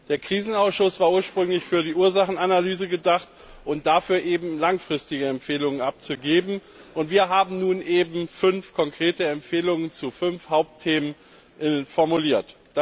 Der Krisenausschuss war ursprünglich für die Ursachenanalyse gedacht und dafür, langfristige Empfehlungen abzugeben. Wir haben nun fünf konkrete Empfehlungen zu fünf Hauptthemen formuliert.